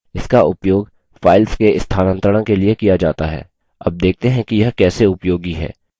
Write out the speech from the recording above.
इसका उपयोग files के स्थानांतरण के लिए किया जाता है अब देखते हैं कि यह कैसे उपयोगी है